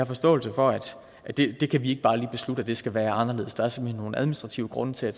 forståelse for at det kan vi ikke bare lige beslutte skal være anderledes der er simpelt hen nogle administrative grunde til at